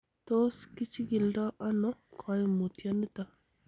Tos kichikildo ono koimutioniton?